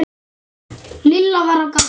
Lilla var á gatinu.